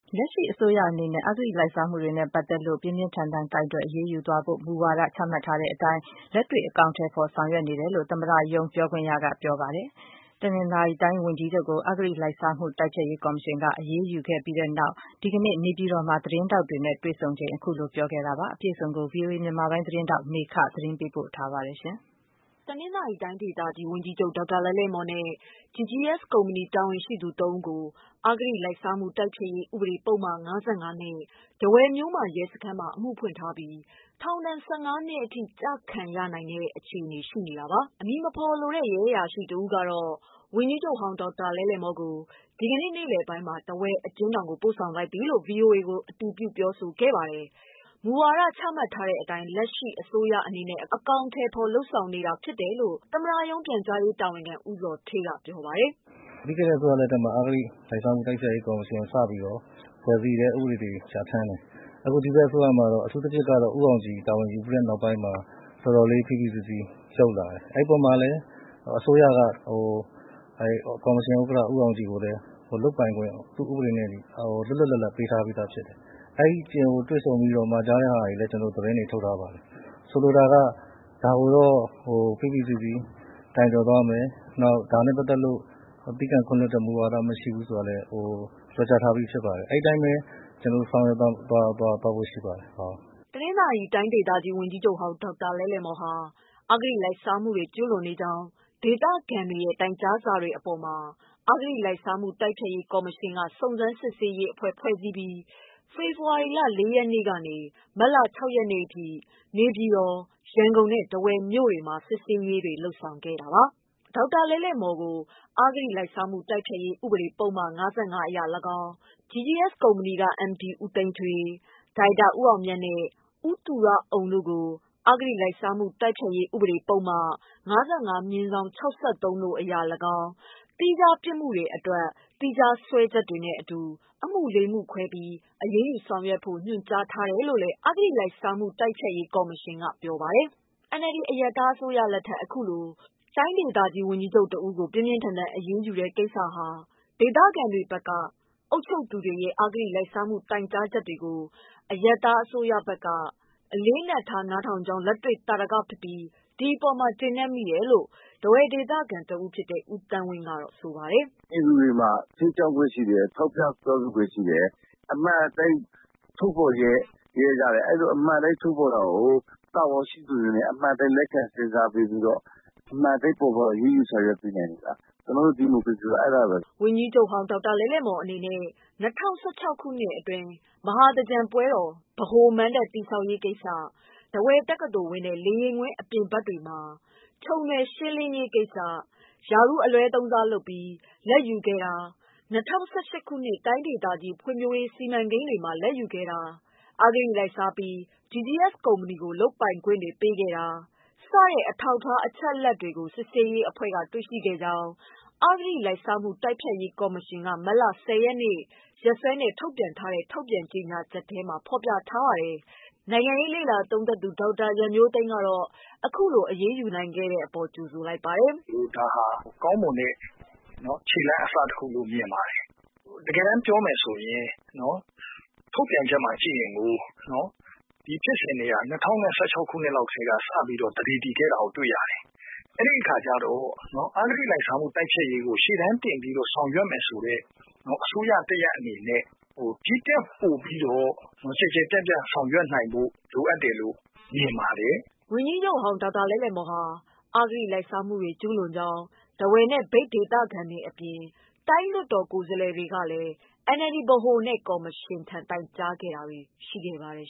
လက်ရှိအစိုးရအနေနဲ့ အဂတိလိုက်စားမှုတွေနဲ့ပတ်သတ်လို့ ပြင်းပြင်းထန်ထန် ကိုင်တွယ် အရေးယူသွားဖို့ မူဝါဒချမှတ်ထားတဲ့အတိုင်း လက်တွေ့ အကောင်အထည်ဖော် လုပ်ဆောင်နေတယ်လို့ သမ္မတရုံး ပြောခွင့်ရက ပြောဆိုလိုက်ပါတယ်။ တနင်္သာရီတိုင်း ဝန်ကြီးချုပ်ကို အဂတိလိုက်စားမှု တိုက်ဖျက်ရေးကော်မရှင်က အရေးယူလိုက်ပြီးနောက် ဒီကနေ့ နေပြည်တော်မှာ သတင်းထောက်တွေနဲ့ တွေ့ဆုံချိန် အဲဒီလို ပြောဆိုခဲ့တာပါ။ အပြည့်စုံကို ဗွီအိုအေ မြန်မာပိုင်း သတင်းထောက် မမေခ သတင်းပေးပို့ထားပါတယ်။ တနင်္သာရီတိုင်းဒေသကြီး ဝန်ကြီးချုပ် ဒေါက်တာ လဲ့လဲ့မော်နဲ့ GGS ကုမ္ပဏီတာဝန်ရှိသူ ၃ ဦးကို အဂတိလိုက်စားမှုတိုက်ဖျက်ရေး ဥပဒေ ပုဒ်မ ၅၅ နဲ့ ထားဝယ်မြို့မရဲစခန်းမှာ အမှုဖွင့်ထားပြီး ထောင်ဒဏ် ၁၅ နှစ်အထိ ချမှတ်ခံရနိုင်တဲ့ အခြေအနေ ရှိနေတာပါ။ အမည်မဖော်လိုတဲ့ ရဲအရာရှိ တဦးကတော့ ဝန်ကြီးချုပ် ဒေါက်တာ လဲ့လဲမော်ကို ဒီကနေ့ နေ့လည်ပိုင်းမှာ ထားဝယ်အကျဉ်းထောင်ကို ပို့ဆောင်လိုက်ပြီ လို့ VOA ကို အတည်ပြု ပြောဆိုခဲ့ပါတယ်။ မူဝါဒချမှတ်ထားတဲ့အတိုင်း လက်ရှိအစိုးရက အကောင်အထည်ဖော် လုပ်ဆောင်နေတာ ဖြစ်တယ်လို့ သမ္မတရုံး ပြန်ကြားရေးတာဝန်ခံ ဦးဇော်ဌေးက ပြောပါတယ်။ "ပြီးခဲ့တဲ့ အစိုးရ လက်ထက်မှာ အဂတိ လိုက်စားမှုတိုက်ဖျက်ရေးကော်မရှင်ကို စပြီးတော့ ဖွဲ့စည်းတယ် ၊ ဥပဒေတွေ ပြဌာန်းတယ်။ အခု ဒီဘက်အစိုးရမှာတော့ အထူးသဖြင့် ဦးအောင်ကြည်တာဝန်ယူပြီးတဲ့နောက်မှာ တော်တော်လေး ဖိဖိစီးစီးလုပ်လာတယ်။ အဲဒီအပေါ်မှာလည်း အစိုးရက ကော်မရှင်ဥက္ကဋ္ဌ ဦးအောင်ကြည်ကိုလည်း ဥပဒေနဲ့အညီ လုပ်ပိုင်ခွင့် လွတ်လွတ်လပ်လပ်ပေးထားပြီးသားဖြစ်တယ်။ ဦးအောင်ကြည်ကိုတွေ့ဆုံ ပြီးတော့ မှာကြားတာတွေလည်း ကျနော်တို့ သတင်းထုတ်ထားပါတယ်။ ဆိုလိုတာက ဒါကို ဖိဖိစီးစီးကိုင်တွယ်သွားမယ်။ ဒါနဲ့ ပတ်သက်ပြီးတော့ သည်းခံခွင့်လွတ်တဲ့ မူဝါဒမရှိဘူးဆိုတာကိုလည်း ပြောကြားထားပြီးဖြစ်ပါတယ်။ အဲဒီအတိုင်းပဲ ကျနော်တို့ ဆောင်ရွက်သွားဖို့ ရှိပါတယ်။" တနင်္သာရီတိုင်း ဝန်ကြီးချုပ် ဒေါက်တာလဲ့လဲ့မော်ဟာ အဂတိလိုက်စားမှုတွေ ကျူးလွန်နေကြောင်း ဒေသခံတွေရဲ့ တိုင်ကြားစာတွေအပေါ်မှာ အဂတိလိုက်စားမှုတိုက်ဖျက်ရေးကော်မရှင်က စုံစမ်းစစ်ဆေးရေးအဖွဲ့ ဖွဲ့စည်းပြီး ဖေဖေါ်ဝါရီလ ၄ ရက်နေ့ကနေ မတ်လ (၆) ရက်နေ့အထိ နေပြည်တော်၊ ရန်ကုန်နဲ့ ထားဝယ်မြို့တွေမှာ စစ်ဆေးရေးလုပ်ငန်းတွေကို ဆောင်ရွက်ခဲ့တာပါ။ ဒေါက်တာလဲ့လဲ့မော်ကို အဂတိလိုက်စားမှုတိုက်ဖျက်ရေး ဥပဒေ ပုဒ်မ ၅၅ အရလည်းကောင်း၊ GGS ကုမ္ပဏီက MD ဦးသိန်းထွေး၊ ဒါရိုက်တာ ဦးအောင်မြတ်နဲ့ ဦးသူရအုံတို့ကို အဂတိလိုက်စားမှု တိုက်ဖျက်ရေးဥပဒေ ၅၅/ ၆၃ အရလည်းကောင်း သီးခြားပြစ်မှုတွေအတွက် သီးခြားစွဲချက်တွေနဲ့ အမှု ၄ မှုခွဲပြီး အရေးယူဆောင်ရွက်ဖို့ ညွှန်ကြားထားတယ်လို့လည်း အဂတိလိုက်စားမှု တိုက်ဖျက်ရေးကော်မရှင်က ပြောပါတယ်။ NLD အရပ်သားအစိုးရလက်ထက် အခုလို တနင်္သာရီတိုင်းဝန်ကြီးချုပ်ကို ပြင်းပြင်း ထန်ထန် အရေးယူတဲ့ ကိစ္စဟာ ဒေသခံပြည်သူတွေဘက်က အုပ်ချုပ်သူတွေရဲ့ အဂတိ လိုက်စားမှု တိုင်ကြားချက်တွေကို အရပ်သားအစိုးရက အလေးအနက်ထား နားထောင်ကြောင်း လက်တွေ့ သာဓကဖြစ်ပြီး ဒီအပေါ် ကျေနပ်မိတယ်လို့ ထားဝယ်ဒေသခံဦးသန်းဝင်းက ပြောပါတယ်။ "ပြည်သူတွေမှာ ထောက်ပြပြောဆိုခွင့်ရှိတယ်။ အမှန်အတိုင်းထုတ်ဖော်ရဲတယ် အဲလို အမှန်အတိုင်းထုတ်ဖော်တာကို တာဝန်ရှိသူတွေအနေနဲ့ အမှန်အတိုင်း လက်ခံစစ်ဆေးပေးပြီးတော့ အမှန်အတိုင်း ဖော်ထုတ်အရေးယူဆောင်ရွက်နေတယ်။ ကျနော်တို့ ဒီမိုကရေစီဆိုတာ အဲဒါပါပဲ။" ဝန်ကြီးချုပ် ဒေါက်တာလဲ့လဲ့မော်အနေနဲ့ ၂၀၁၆ ခုနှစ်တွင်း မဟာသင်္ကြန်ပွဲတော် ဗဟိုမဏ္ဍပ် တည်ဆောက်ရေးကိစ္စ၊ ထားဝယ်တက္ကသိုလ်ဝင်းနဲ့ လေယာဉ်ကွင်း အပြင်ဘက်တွေမှာ ချုံနွယ်ရှင်းလင်းရေးကိစ္စ ရာထူးအလွဲသုံးစားလုပ်ပြီး လာဘ်ယူခဲ့တာ၊ ၂၀၁၈ခုနှစ် တိုင်းဒေသ ဖွံဖြိုးရေးစီမံကိန်းတွေမှာ လာဘ်ယူခဲ့တာ၊ အဂတိလိုက်စားပြီး GGS ကုမ္ပဏီကို လုပ်ပိုင်ခွင့်တွေ ပေးခဲ့တာ စတဲ့ အထောက်အထား အချက်အလက်တွေကို စစ်ဆေးရေးအဖွဲ့က တွေ့ရှိခဲ့ကြောင်း အဂတိလိုက်စားမှု တိုက်ဖျက်ရေး ကော်မရှင်က မတ်လ (၁၀)ရက်နေ့ရက်စွဲနဲ့ ထုတ်ပြန်တဲ့ ကြေညာချက်မှာ ဖေါ်ပြထားပါတယ်။ နိုင်ငံရေးလေ့လာသုံးသပ်သူ ဒေါက်တာရန်မျိုးသိမ်းကတော့ အခုလို အရေးယူနိုင်ခဲ့တဲ့အပေါ် ကြိုဆိုလိုက်ပါတယ်။ "ဒါဟာ ကောင်းမွန်တဲ့ ခြေလှမ်းအစတခုလို့ မြင်ပါတယ်။ တကယ်တမ်းပြောမယ်ဆိုရင် ထုတ်ပြန်ချက်မှာ ကြည့်ရင် ဒီဖြစ်စဉ်တွေက ၂၀၁၆ ခုနှစ်ကတည်းက စခဲ့တာကို တွေ့ရတယ်။ အဲဒီအခါကျတော့ အဂတိလိုက်စားမှုတိုက်ဖျက်ရေးကို ရှေ့တန်းတင်ဆောင်ရွက်မယ်ဆိုတဲ့ အစိုးရတရပ်အနေနဲ့ ဒီထက်ပိုပြီးတော့ ကျယ်ကျယ်ပြန့်ပြန့်ဆောင်ရွက်နိုင်ဖို့ လိုအပ်တယ်လို့ မြင်ပါတယ်။" ဝန်ကြီးချုပ် ဒေါက်တာလဲ့လဲ့မော် ဟာ အဂတိလိုက်စားမှုတွေ ကျူးလွန်ကြောင်း ထားဝယ်နဲ့ မြိတ်ဒေသခံတွေအပြင် တိုင်းလွှတ်တော်ကိုယ်စားလှယ်တွေကလည်း NLD ပါတီ ဗဟိုနဲ့ ကော်မရှင်ထံ တိုင်ကြားတာတွေ ရှိခဲ့ပါတယ်